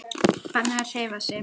Bannað að hreyfa sig.